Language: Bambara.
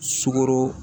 Sukoro